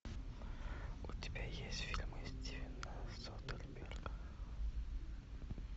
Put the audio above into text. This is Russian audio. у тебя есть фильмы стивена содерберга